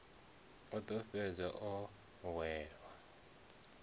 o ḓo fhedza o hwelelwa